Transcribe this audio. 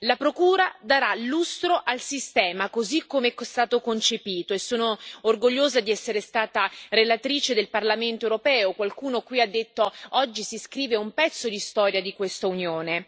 La Procura darà lustro al sistema così come è stato concepito e sono orgogliosa di essere stata relatrice del Parlamento europeo qualcuno qui ha detto oggi si scrive un pezzo di storia di questa Unione.